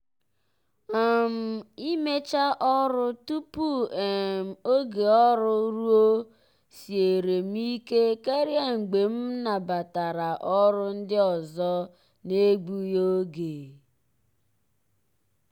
um imecha ọrụ tupu um oge ọrụ ruo siere m ike karị mgbe m nabatara ọrụ ndị ọzọ n'egbughi oge.